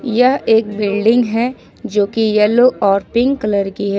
यह एक बिल्डिंग है जो की येलो और पिंक कलर की--